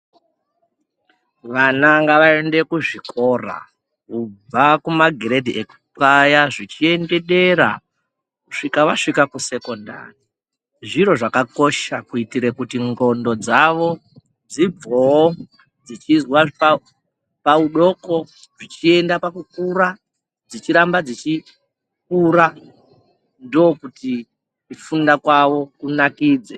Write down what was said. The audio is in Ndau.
Vana ngavaende kuzvikora kubva kumagiredhi epaya zvichiende dera kusvika vasvika kusekondari, zviro zvakakosha kuitire kuti ndxondo dzavo dzibvoo dzichizwa paudoko zvichienda pakukura dzichiramba dzichikura ndokuti kufunda kwawo kunakidze.